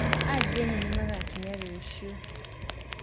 Ageni nĩmagakinya rũciũ.